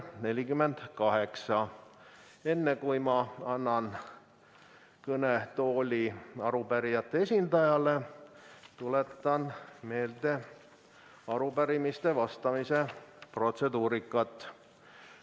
Enne, kui ma annan kõnetooli arupärijate esindajale, tuletan meelde arupärimistele vastamise protseduuri.